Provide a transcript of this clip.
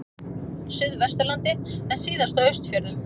Suðvesturlandi en síðast á Austfjörðum.